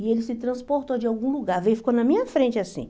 E ele se transportou de algum lugar, veio ficou na minha frente assim.